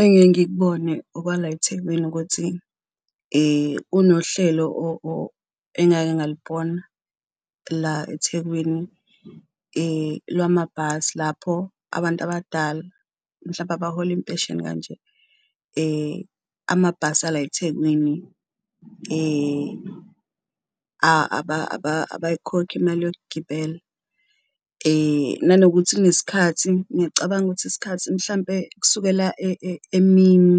Engiye ngikubone okwala eThekwini ukuthi kunohlelo engake ngalubona la eThekwini lwamabhasi, lapho abantu abadala mhlampe abahola impesheni kanje amabhasi ala eThekwini abayikhokhi imali yokugibela. Nanokuthi kunesikhathi ngicabanga ukuthi isikhathi mhlampe kusukela emini